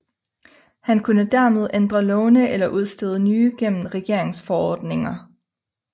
Han kunne dermed ændre lovene eller udstede nye gennem regeringsforordninger